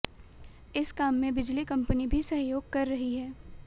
इस काम में बिजली कंपनी भी सहयोग कर रही है